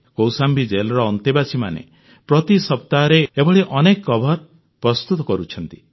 କୌଶାମ୍ବୀ ଜେଲର ଅନ୍ତେବାସୀମାନେ ପ୍ରତି ସପ୍ତାହରେ ଏଭଳି ଅନେକ କଭର ପ୍ରସ୍ତୁତ କରୁଛନ୍ତି